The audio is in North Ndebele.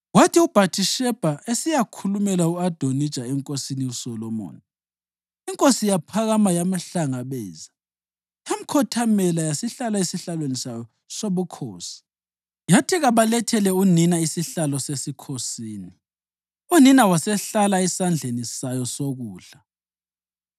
Kwathi uBhathishebha esiyakhulumela u-Adonija enkosini uSolomoni, inkosi yaphakama yamhlangabeza yamkhothamela yasihlala esihlalweni sayo sobukhosi. Yathi kabalethele unina isihlalo sesikhosini, unina wasehlala esandleni sayo sokudla.